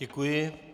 Děkuji.